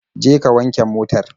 Je ka wanke motar.